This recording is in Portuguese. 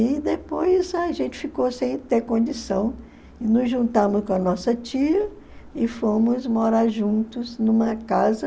E depois a gente ficou sem ter condição e nos juntamos com a nossa tia e fomos morar juntos numa casa